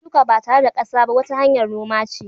Shuka ba tare da kasa ba wata hanyar noma che.